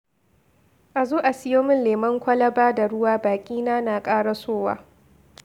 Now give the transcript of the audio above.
A zo a siyo min lemon kwalaba da ruwa baƙina na ƙarasowa.